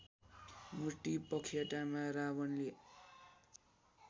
मूर्ति पखेटामा रावणले